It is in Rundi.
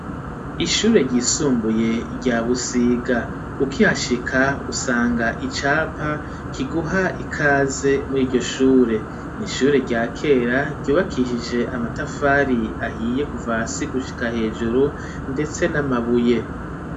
Ishure ryisumbuye rya busiga ukihashika usanga icapa kiguha ikaze muri iryoshure, n'ishure rya kera ryubakishije amatafari ahiye kuva hasi gushika hejuru ndetse n'amabuye.